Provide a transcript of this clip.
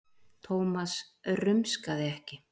Thomas rumskaði ekki.